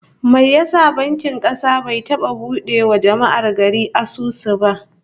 Mene ya sa bankin kasa bai taba bude wa jama'ar gari asusu ba?